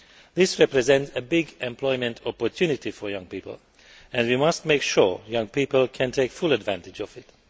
This represents a big employment opportunity for young people and we must make sure that young people can take full advantage of it.